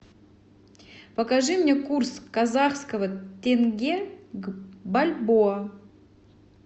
покажи мне курс казахского тенге к бальбоа